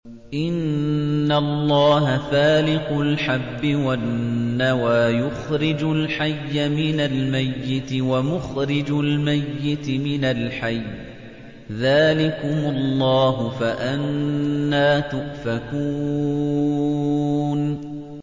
۞ إِنَّ اللَّهَ فَالِقُ الْحَبِّ وَالنَّوَىٰ ۖ يُخْرِجُ الْحَيَّ مِنَ الْمَيِّتِ وَمُخْرِجُ الْمَيِّتِ مِنَ الْحَيِّ ۚ ذَٰلِكُمُ اللَّهُ ۖ فَأَنَّىٰ تُؤْفَكُونَ